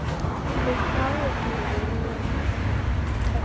og hafði ekkert heyrt.